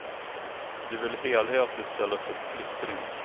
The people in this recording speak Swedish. Det vill helhet i stället för splittring.